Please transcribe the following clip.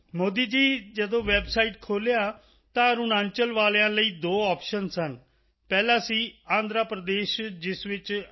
ਮੋਦੀ ਜੀ ਜਦੋਂ ਵੈੱਬਸਾਈਟ ਖੋਲ੍ਹਿਆ ਤਾਂ ਅਰੁਣਾਚਲ ਵਾਲਿਆਂ ਲਈ ਦੋ ਓਪਸ਼ਨ ਸਨ ਪਹਿਲਾ ਸੀ ਆਂਧਰ ਪ੍ਰਦੇਸ਼ ਜਿਸ ਵਿੱਚ ਆਈ